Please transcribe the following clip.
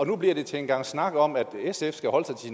nu bliver til en gang snak om at sf skal holde sig til